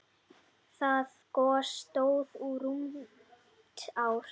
Það gos stóð í rúmt ár.